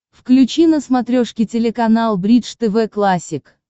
включи на смотрешке телеканал бридж тв классик